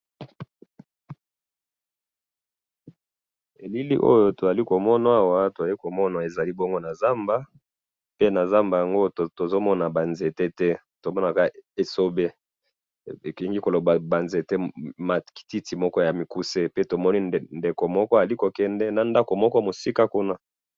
elili oyo tozali komona awa tozali komona ezali bongo nakati ya zamba pe nakati ya zamba tozomon ba nzete te tozomona ba esobe pe tozali komona mutu azali kokende na musika